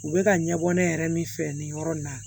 U bɛ ka ɲɛbɔ ne yɛrɛ min fɛ nin yɔrɔ in na